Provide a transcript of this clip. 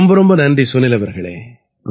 ரொம்ப ரொம்ப நன்றி சுனில் அவர்களே